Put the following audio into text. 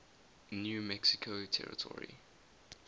new mexico territory